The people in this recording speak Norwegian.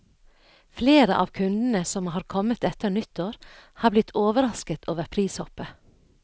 Flere av kundene som har kommet etter nyttår, har blitt overrasket over prishoppet.